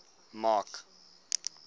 mark